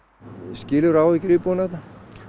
skilurðu áhyggjur íbúanna þarna